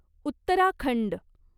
Uttarakhand